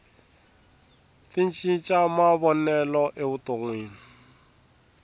ti cinca mavonelo evutonwini